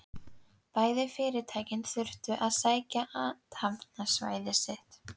Bæði fyrirtækin þurftu að stækka athafnasvæði sitt.